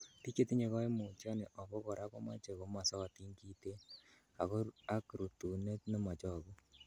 Bik chetinye koimutioni obo kora komoche komosotin kiten ak rutunet nemochogu